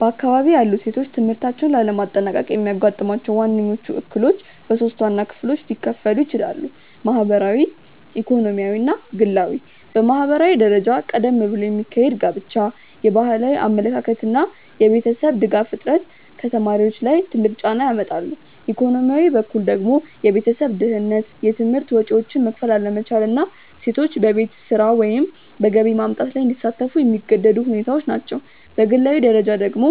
በአካባቢዬ ያሉ ሴቶች ትምህርታቸውን ላለማጠናቀቅ የሚያጋጥሟቸው ዋነኞቹ እክሎች በሶስት ዋና ክፍሎች ሊከፈሉ ይችላሉ። ማህበራዊ፣ ኢኮኖሚያዊ እና ግላዊ። በማህበራዊ ደረጃ ቀደም ብሎ የሚካሄድ ጋብቻ፣ የባህላዊ አመለካከት እና የቤተሰብ ድጋፍ እጥረት ከተማሪዎች ላይ ትልቅ ጫና ያመጣሉ፤ ኢኮኖሚያዊ በኩል ደግሞ የቤተሰብ ድህነት፣ የትምህርት ወጪዎችን መክፈል አለመቻል እና ሴቶች በቤት ስራ ወይም በገቢ ማምጣት ላይ እንዲሳተፉ የሚገደዱ ሁኔታዎች ናቸው፤ በግላዊ ደረጃ ደግሞ